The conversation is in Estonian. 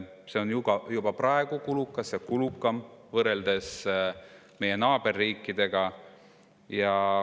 See on juba praegu kulukas ja kulukam kui meie naaberriikides.